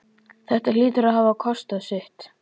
Þetta hlýtur að hafa kostað sitt!